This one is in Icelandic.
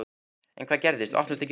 En hvað gerist. opnast ekki hurðin!